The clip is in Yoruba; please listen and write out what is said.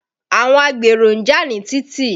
Àwọn agbèrò ń jà ní títì.